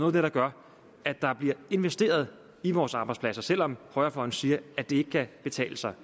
af det der gør at der bliver investeret i vores arbejdspladser selv om højrefløjen siger at det ikke kan betale sig